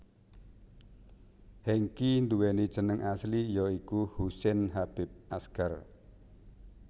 Hengky nduwéni jeneng asli ya iku Husain Habib Asgar